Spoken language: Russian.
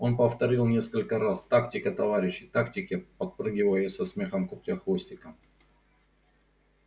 он повторил несколько раз тактика товарищи тактики подпрыгивая со смехом крутя хвостиком